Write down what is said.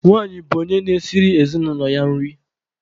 Nwanyị bụ onye na-esiri ezinụlọ ya nri.